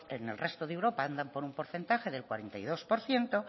en el resto de europa andan por un porcentaje del cuarenta y dos por ciento